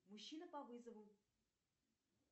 мужчина по вызову